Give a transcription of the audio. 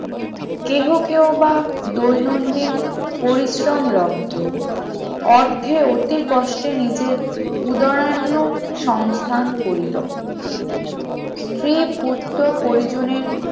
কেহ কেহ বা দৈনন্দিন পরিশ্রম লব্ধ অর্থে অতি কষ্টে নিজের উদাহরণ্য সংস্থান করি তো স্ত্রী পুত্র পরিজনের